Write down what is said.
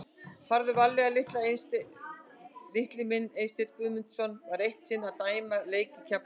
Farðu varlega litli minn Eysteinn Guðmundsson var eitt sinn að dæma leik í Keflavík.